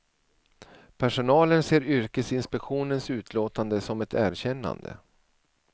Personalen ser yrkesinspektionens utlåtande som ett erkännande.